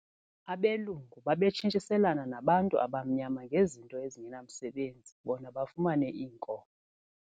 Abelungu babetshintshiselana nabantu abamnyama ngezinto ezingenamsebenzi bona bafumane iinkomo.